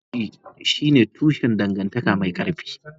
Aminci shine tushen dangantaka mai ƙarfi.